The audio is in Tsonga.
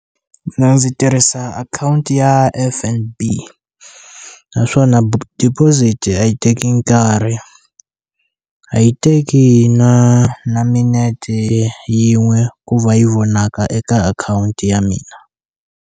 ndzi tirhisa akhawunti ya F_N_B naswona deposit-i a yi teki nkarhi a yi teki na na minete yin'we ku va yi vonaka eka akhawunti ya mina.